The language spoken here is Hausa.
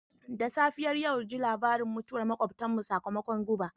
Da safiyar yau ji labarin mutuwar makwabtanmu sakamakon guba.